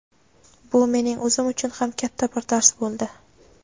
Bu mening o‘zim uchun ham katta bir dars bo‘ldi.